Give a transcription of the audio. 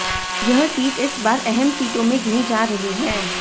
यह सीट इस बार अहम सीटों में गिनी जा रही है